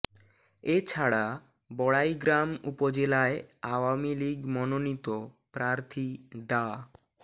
এ ছাড়া বড়াইগ্রাম উপজেলায় আওয়ামী লীগ মনোনীত প্রার্থী ডা